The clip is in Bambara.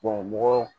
mɔgɔ